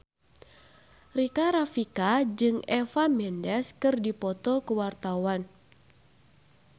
Rika Rafika jeung Eva Mendes keur dipoto ku wartawan